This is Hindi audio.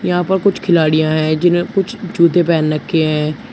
यहां पर कुछ खिलाड़िया है जिनमें कुछ जूते पहन रखे हैं।